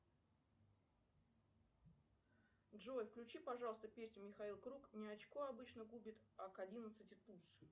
джой включи пожалуйста песню михаил круг не очко обычно губит а к одиннадцати туз